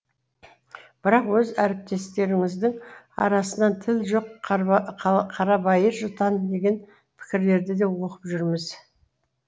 бірақ өз әріптестеріңіздің арасынан тіл жоқ қарабайыр жұтаң деген пікірлерді де оқып жүрміз